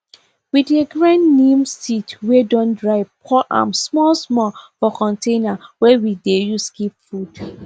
we dey grind neem seed wey don dry pour am small small for container wey we dey use keep food